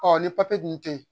ni dun te yen